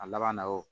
A laban na o